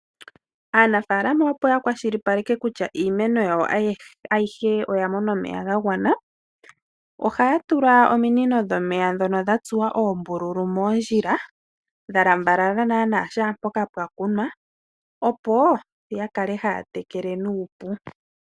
Aanafaalama opo ya kwashilipaleke kutya iimeno yawo ayihe oya mona omeya gagwana, ohaya tula ominino dhomeya ndhono dhatsuwa oombululu moondjila dha lambalala naana kehe mpoka pwakunwa opo yakale haya tekele nuupu.